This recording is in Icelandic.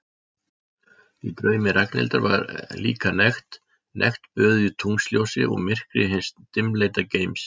Í draumi Ragnhildar var líka nekt, nekt böðuð í tunglsljósi og myrkri hins dimmleita geims.